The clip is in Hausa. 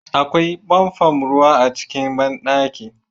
Akwai famfon ruwa a cikin banɗaki